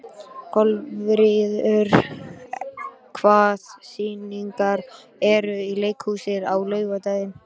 Kolviður, hvaða sýningar eru í leikhúsinu á laugardaginn?